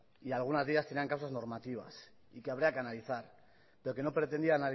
y algunas de ellas tenían causas normativas y que había que analizar pero que no pretendía